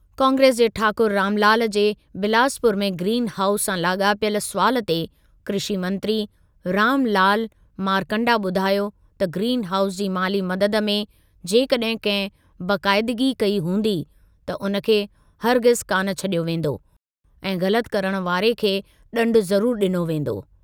कांग्रेस जे ठाकुर रामलाल जे बिलासपुर में ग्रीन हाउस सां लाॻापियल सुवालु ते कृषी मंत्री रामलाल मारकण्डा ॿुधायो त ग्रीन हाउस जी माली मददु में जेकॾहिं कंहिं बेक़ाइदगी कई हूंदी त उन खे हरगिज़ कान छॾियो वेंदो ऐं ग़लति करण वारे खे ॾंडु ज़रुर ॾिनो वेंदो।